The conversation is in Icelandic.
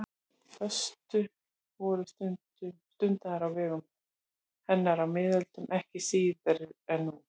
Föstur voru stundaðar á vegum hennar á miðöldum ekki síður en nú.